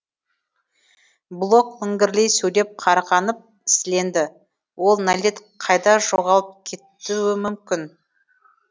блок міңгірлей сөйлеп қарғанып сіленді ол нәлет қайда жоғалып кетуі мүмкін